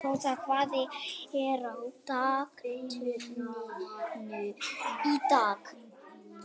Ásrós, hvað er á dagatalinu í dag?